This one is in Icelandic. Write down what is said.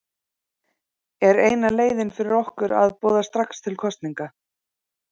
Er eina leiðin fyrir okkur að boða strax til kosninga?